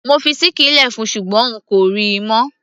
mo fi ṣíkìn lẹ fún ṣùgbọ́n n kò ríi mọ́